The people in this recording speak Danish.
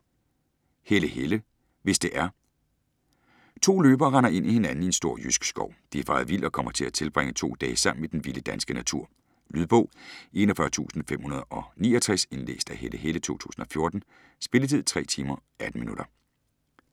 Helle, Helle: Hvis det er To løbere render ind i hinanden i en stor jysk skov. De er faret vild og kommer til at tilbringe to dage sammen i den vilde danske natur. Lydbog 41569 Indlæst af Helle Helle, 2014. Spilletid: 3 timer, 18 minutter.